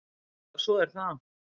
Já, svo er það.